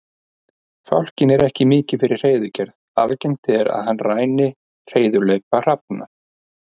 Fálkinn er ekki mikið fyrir hreiðurgerð, algengt er að hann ræni hreiðurlaupa hrafna.